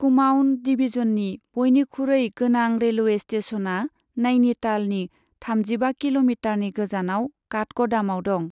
कुमाउन डिभिजननि बयनिखुरै गोनां रेलवे स्टेशना नाइनीतालनि थामजिबा किल'मिटारनि गोजानाव काठगदामाव दं।